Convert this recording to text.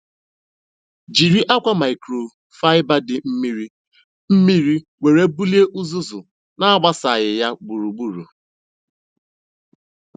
Jiri akwa microfiber dị mmiri mmiri were bulie uzuzu na-agbasaghị ya gburugburu.